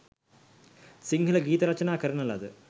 සිංහල ගීත රචනා කරන ලද